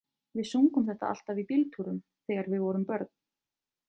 Við sungum þetta alltaf í bíltúrum þegar við vorum börn.